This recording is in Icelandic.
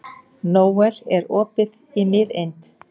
Nóel, er opið í Miðeind?